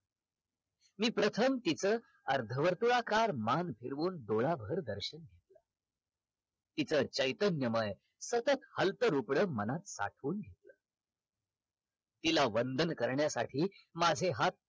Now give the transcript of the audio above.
मी प्रथम तिच अर्धावर्तुळाकार मान फिरवून डोळाभर दर्शन घेतला तिच चैतन्यमय तसच मनात साठवून घेतल तिला वंदन करण्यासाठी माझे हाथ